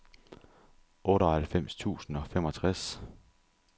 otteoghalvfems tusind og femogtres